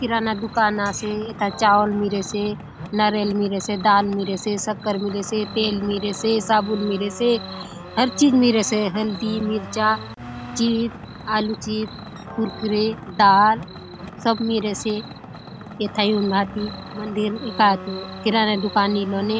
किराना दुकान आसे एथा चावल मिरेसे नरियर मिरेसे दाल मिरेसे शक्कर मिरेसे तेल मिरेसे साबुन मिरेसे हर चीज मिरेसे हल्दी मिरचा चिप आलु चिप्स कुरकुरे दाल सब मिरेसे एथा ऐउन भांति मंदिर कायतो किराना दुकान इलोने--